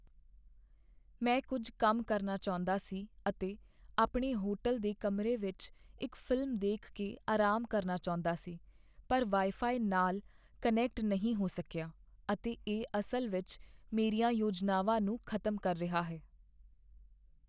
ਮੈਂ ਕੁੱਝ ਕੰਮ ਕਰਨਾ ਚਾਹੁੰਦਾ ਸੀ ਅਤੇ ਆਪਣੇ ਹੋਟਲ ਦੇ ਕਮਰੇ ਵਿੱਚ ਇੱਕ ਫ਼ਿਲਮ ਦੇਖ ਕੇ ਆਰਾਮ ਕਰਨਾ ਚਾਹੁੰਦਾ ਸੀ, ਪਰ ਵਾਈਫਾਈ ਨਾਲ ਕਨੈਕਟ ਨਹੀਂ ਹੋ ਸਕੀਆ, ਅਤੇ ਇਹ ਅਸਲ ਵਿੱਚ ਮੇਰੀਆਂ ਯੋਜਨਾਵਾਂ ਨੂੰ ਖ਼ਤਮ ਕਰ ਰਿਹਾ ਹੈ।